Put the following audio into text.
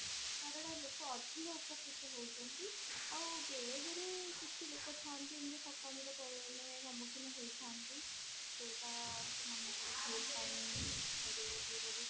କାରଣ ଲୋକ ଅଧିକ ଉପକୃତ ହଉଛନ୍ତି ଆଉ ବେଳେ ବେଳେ କିଛି ଲୋକ ଥାଆନ୍ତି ଏମତି ଠକାମି ର ଅ ସମୁଖୀନ ହେଇଥାନ୍ତି ଯଉଟା ସେମନଙ୍କ ଭୁଲ ପାଇଁ